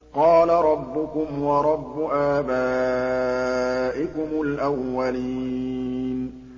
قَالَ رَبُّكُمْ وَرَبُّ آبَائِكُمُ الْأَوَّلِينَ